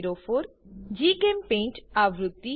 1204 જીચેમ્પેઇન્ટ આવૃત્તિ